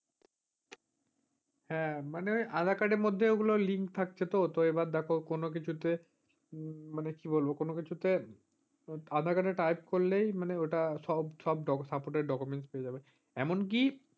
হ্যাঁ মানে আধার-কার্ড এর মধ্যে ওগুলোর link থাকছে তো। তো এবার দেখ কোনকিছুতে মানে কি বলবো কোনকিছুতে type করলেই মানে ঐটা সব ডক supoted documents পেয়ে যাবেন। এমন কি,